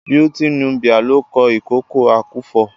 Beautiful Nubia ló kọ "Ìkòkò àkúfọ.."